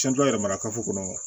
yɛrɛ mara kafo kɔnɔ